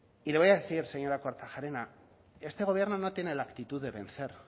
y le voy a decir señora kortajarena que este gobierno no tiene la actitud de vencer